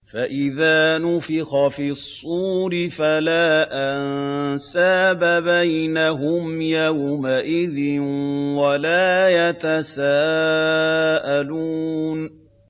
فَإِذَا نُفِخَ فِي الصُّورِ فَلَا أَنسَابَ بَيْنَهُمْ يَوْمَئِذٍ وَلَا يَتَسَاءَلُونَ